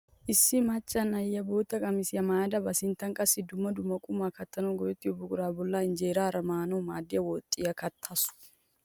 Issi macca na'iyaa bootta qamisiyaa maayada ba sinttan qassi dumma dumma qumaa kattanawu go"ettiyoo buquraa bolli injeeraara maanawu maaddiyaa woxiyaa kattawus.